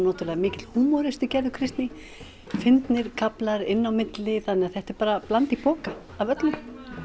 náttúrulega mikill húmoristi Gerður Kristný fyndnir kaflar inn á milli þannig að þetta er bara bland í poka af öllu